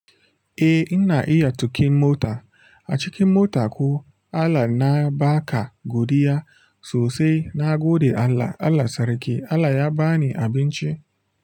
Eh ina iya tuƙin mota. A cikin mota ko Allah na ba ka godiya sosai. Na gode Allah, Allah sarki, Allah ya ba ni abinci.